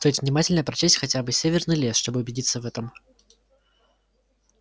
стоит внимательно прочесть хотя бы северный лес чтобы убедиться в этом